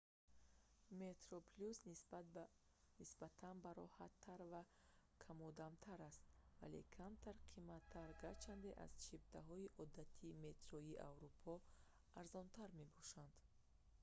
metroplus нисбатан бароҳаттар ва камодамтар аст вале камтар қимматар гарчанде аз чиптаҳои одатии метроҳои аврупо арзонтар мебошад